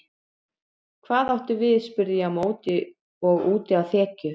Hvað áttu við spurði ég á móti og úti á þekju.